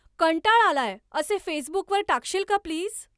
कंटाळा आलाय असे फेसबुकवर टाकशील का प्लीज